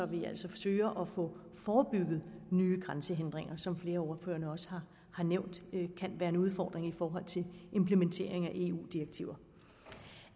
vi altså søger at få forebygget nye grænsehindringer som flere af ordførerne også har nævnt kan være en udfordring i forhold til implementering af eu direktiver